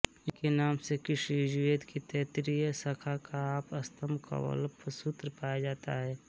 इनके नाम से कृष्ण यजुर्वेद की तैत्तिरीय शाखा का आपस्तम्बकल्पसूत्र पाया जाता है